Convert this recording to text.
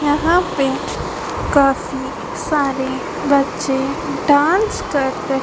यहां पे काफी सारे बच्चे डांस कर रहे--